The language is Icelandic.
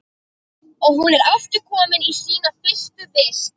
Og hún er aftur komin í sína fyrstu vist.